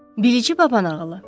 Bilici babanağılı.